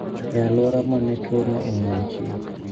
E alwora ma ne twono omuochie